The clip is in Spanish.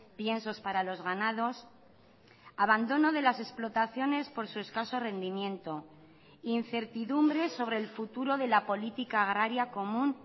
piensos para los ganados abandono de las explotaciones por su escaso rendimiento incertidumbres sobre el futuro de la política agraria común